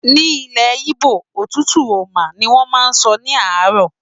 Ní ilẹ̀ Igbo, "otutu oma" ni wọ́n máa ń sọ ní àárọ̀.